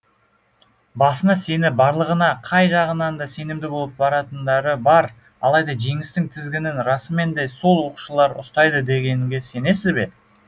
басына сеніп барлығына қай жағынан да сенімді болып баратындары бар алайда жеңістің тізгінін расымен де сол оқушылар ұстайды дегенге сенесіз бе